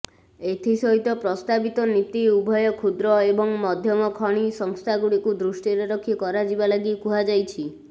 ଏଥିସହିତ ପ୍ରସ୍ତାବିତ ନୀତି ଉଭୟ କ୍ଷୁଦ୍ର ଏବଂ ମଧ୍ୟମ ଖଣି ସଂସ୍ଥାଗୁଡ଼ିକୁ ଦୃଷ୍ଟିରେ ରଖି କରାଯିବା ଲାଗି କୁହାଯାଇଛି